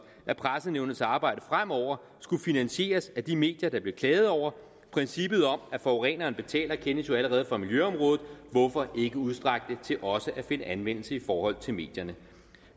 at pressenævnets arbejde fremover skulle finansieres af de medier der blev klaget over princippet om at forureneren betaler kendes jo allerede fra miljøområdet hvorfor ikke udstrække det til også at finde anvendelse i forhold til medierne